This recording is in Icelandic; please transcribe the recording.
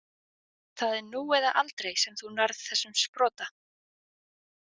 Það er nú eða aldrei sem þú nærð þessum sprota.